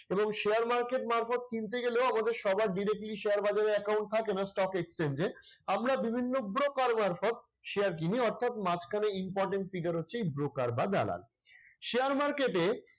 এবং share market মারফত কিনতে গেলেও আমাদের সবার directly share বাজারে account থাকে না stock exchange এ। আমরা বিভিন্ন broker মারফত share কিনি অর্থাৎ মাঝখানে important figure হচ্ছে এই broker বা দালাল। share market এ